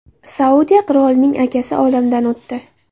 Saudiya qirolining akasi olamdan o‘tdi.